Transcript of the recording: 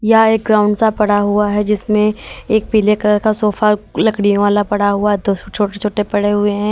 या एक ग्राउंड सा पड़ा हुआ है जिसमें एक पीले कलर का सोफा लकड़ियों वाला पड़ा हुआ तो छोटे छोटे पड़े हुए हैं।